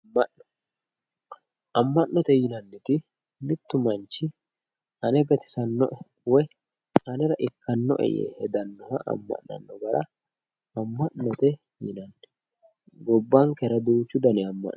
Amma'no amma'note yinanniti mittu manchi ane gatisannoe anera woyyanoe yee hedannoha amma'note yinanni gobbankera duuchu dani amma'no heedhanno